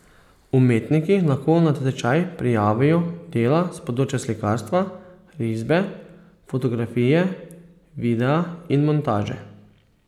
Umetniki lahko na natečaj prijavijo dela s področij slikarstva, risbe, fotografije, videa in montaže.